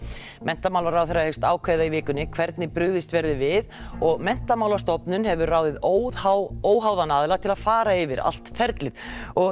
menntamálaráðherra hyggst ákveða í vikunni hvernig brugðist verði við og Menntamálastofnun hefur ráðið óháðan óháðan aðila til að fara yfir allt ferlið